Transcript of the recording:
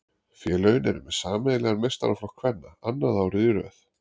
Félögin eru með sameiginlegan meistaraflokk kvenna annað árið í röð.